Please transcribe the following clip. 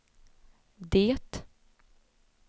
det